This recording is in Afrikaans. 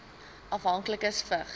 afhanklikes vigs